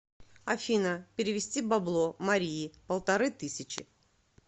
афина перевести бабло марии полторы тысячи